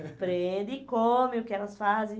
e comem o que elas fazem.